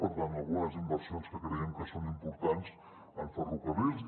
per tant algunes inversions que creiem que són importants en ferrocarrils